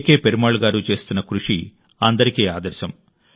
పెరుమాళ్ గారు చేస్తున్న కృషి అందరికీ ఆదర్శం